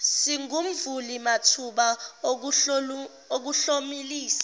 singumvuli mathuba okuhlomulisa